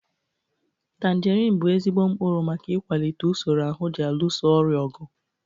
Tanjerin bụ ezigbo mkpụrụ maka ịkwalite usoro ahụ ji alụso ọrịa ọgụ.